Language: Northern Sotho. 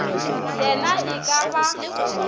ye na e ka ba